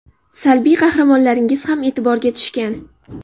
Salbiy qahramonlaringiz ham e’tiborga tushgan.